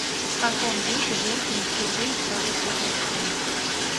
в каком веке женщины впервые стали петь на сцене